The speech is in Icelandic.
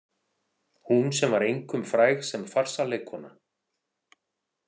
Hún sem var einkum fræg sem farsaleikkona.